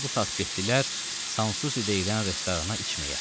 Bunlar bu saat getdilər Sansusi deyilən restorana içməyə.